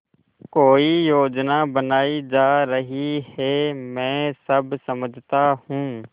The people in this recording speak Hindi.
कोई योजना बनाई जा रही है मैं सब समझता हूँ